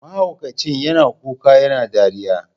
Mahaukacin yana kuka yana dariya.